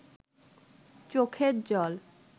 চোখের জল